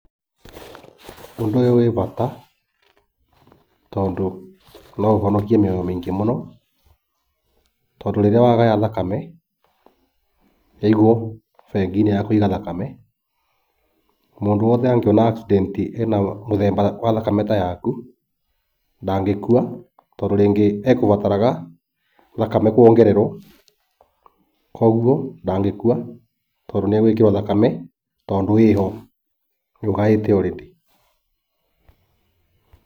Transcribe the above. Ũndũ ũyũ wĩ bata tondũ no ũhonokie mĩoyo mĩingĩ mũno, tondũ rĩrĩa wagaya thakame ĩigwo bengi-inĩ ya kũiga thakame, mũndũ wothe angĩona accident ena mũthemba wa thakame ta yaku ndangĩkua tondũ rĩngĩ egũbataraga thakame kwongererwo, kogwo ndangĩkua tondũ nĩegwĩkĩrwo thakame tondũ ĩho. Nĩũgaĩte already.